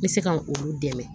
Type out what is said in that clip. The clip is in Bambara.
N bɛ se ka olu dɛmɛ